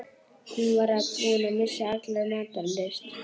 Hann var búinn að missa alla matar lyst.